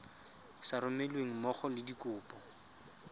sa romelweng mmogo le dikopo